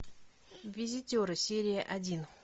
визитеры серия один